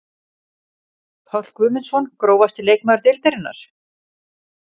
Páll Guðmundsson Grófasti leikmaður deildarinnar?